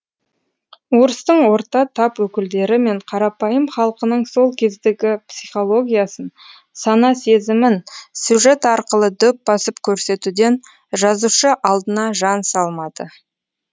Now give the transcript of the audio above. орыстың орта тап өкілдері мен қарапайым халқының сол кездегі психологиясын сана сезімін сюжет арқылы дөп басып көрсетуден жазушы алдына жан салмады